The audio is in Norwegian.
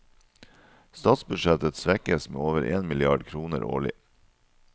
Statsbudsjettet svekkes med over en milliard kroner årlig.